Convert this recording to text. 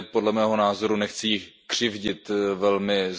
podle mého názoru ukazuje nechci jí křivdit velmi zbytečně, ale